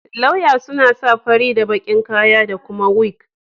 Lauya suna sa fari da baki'n kaya da kuma wig.